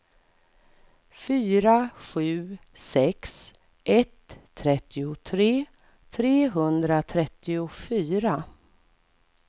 fyra sju sex ett trettiotre trehundratrettiofyra